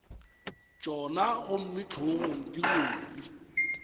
tšona gomme hlogong di rwele